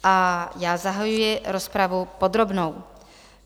A já zahajuji rozpravu podrobnou.